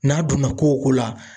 N'a donna ko o ko la.